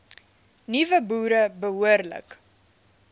nuwe boere behoorlik